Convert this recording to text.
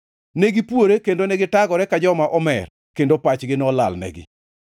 Ne gipuore kendo gitagore ka joma omer; kendo pachgi nolalnegi.